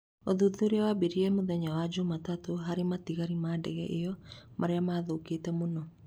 Ũthuthuria wambĩrĩirie mũthenya wa Jumatatũ harĩ matigari ma ndege ĩyo marĩa mathũkĩte mũno.